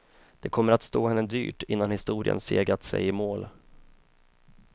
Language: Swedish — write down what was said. Det kommer att stå henne dyrt innan historien segat sig i mål.